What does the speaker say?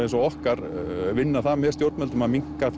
eins og okkar vinna það með stjórnvöldum að minnka